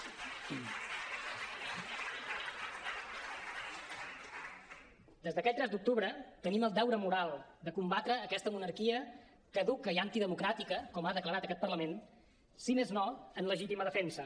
des d’aquell tres d’octubre tenim el deure moral de combatre aquesta monarquia caduca i antidemocràtica com ha declarat aquest parlament si més no en legítima defensa